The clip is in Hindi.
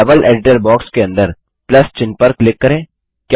अब लेवल एडिटर बॉक्स के अंदर प्लस चिह्न पर क्लिक करें